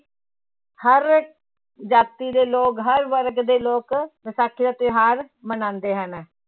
ਹਰ ਜਾਤੀ ਦੇ ਲੋਕ ਹਰ ਵਰਗ ਦੇ ਲੋਕ ਵਿਸਾਖੀ ਦਾ ਤਿਉਹਾਰ ਮਨਾਉਂਦੇ ਹਨ।